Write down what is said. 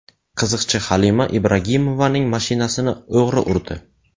Qiziqchi Halima Ibragimovaning mashinasini o‘g‘ri urdi.